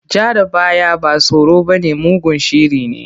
Ja da baya ba tsoro bane, mugun shiri ne.